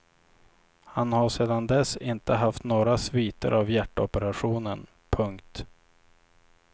Han har sedan dess inte haft några sviter av hjärtoperationen. punkt